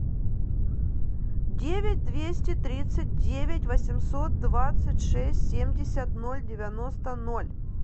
девять двести тридцать девять восемьсот двадцать шесть семьдесят ноль девяносто ноль